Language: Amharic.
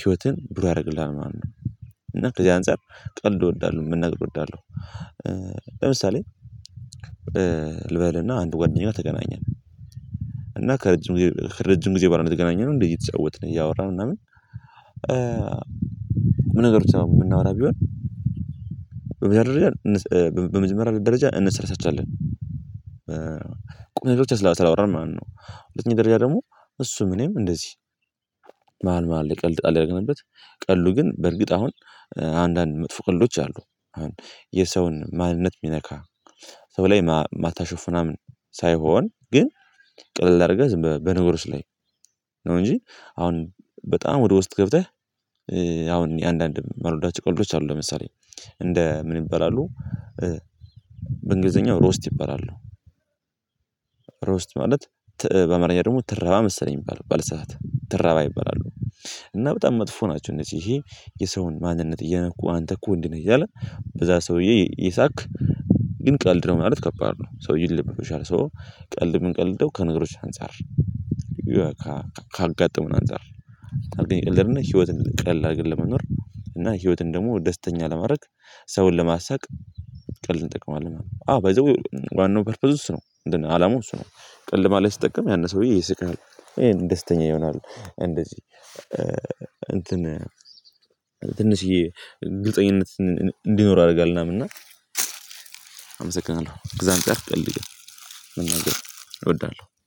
ህይወትን ብሩህ ያደርግልሃል ማለት ነው። እና ከዚህ አንፃር ቀልድ እወዳለሁ መናገር እወዳለሁ። ለምሳሌ ልበልና አንድ ጓደኛው ተገናኘን። እና ከረጅም ጊዜ ረጅም ጊዜ በኋላ የተገናኘነው እንዴ እየተጫወትን እያወራን ምናምን። ቁም ነገር ብቻ የምናወራ ቢሆን። በመጀመሪያ በመጀመሪያ ደረጃ እንሰለቻቻለን። ቁም ነገር ብቻ ስለአወራን ማለት ነው። ሁለተኛ ደረጃ ደግሞ እሱም እኔም እንደዚህ መሃል መሃል ላይ ቀልድ ጣል እያደረገንበት። ቀልዱ ግን በእርግጥ አሁን አንዳንድ መጥፎ ቀልዶች አሉ። አሁን የሰውን ማንነት የሚነካ ሰው ላይ ማታሾፍ ምናምን ሳይሆን ግን ቅልል አድርገህ ዝም በነገሮች ላይ። ነው እንጂ አሁን በጣም ወደ ውስጥ ገብተህ። አሁን አንዳንድ መልወዳች ቀልዶች አሉ ለምሳሌ እንደ ምን ይበላሉ? በእንግሊዘኛው ሮስት ይበላሉ። ሮስት ማለት በአማርኝ ደግሞ ትረባ መሰለኝ ባልሳሳት ትረባ ይበላሉ። እና በጣም መጥፎ ናቸው። እነዚህ ይሄ የሰውን ማንነት እየነኩ አንተ እኮ እንዲህ ነህ እያለ በዛ ሰውዬ እየሳቅ። ግን ቀልድ ነው ማለት ከባድ ነው ሰውዬ ይረበሻል ሶ ቀልድ ምንቀልደው ከነገሮች አንፃር። ካጋጠሙን አንፃር የምንቀልደውን ህይወትን ቀላል ለመኖር እና ህይወትን ደግሞ ደስተኛ ለማድረግ ሰውን ለማሳቅ። ቀልድ እንጠቀማለን አዎ ባይ ዘ ዌይ ዋናው ፐርፐዝ እሱ ነው። አላማው እሱ ነው። ቀልድ መሃል ላይ ስጠቀም ያነ ሰውዬ ይስቃል ይሄን ደስተኛ ይሆናሉ እንደዚህ እንትን ትንሽዬ ግልፀኝነት እንዲኖር ያደርጋል። ምናምን እና አመሰግናለሁ እግዚአብሔር ይስጥልኝ ቀልድ መናገር እወዳለሁ